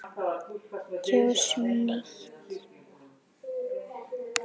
Kjósum nýtt.